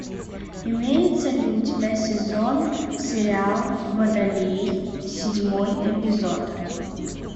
имеется ли у тебя сезон сериал водолей седьмой эпизод